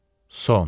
Son.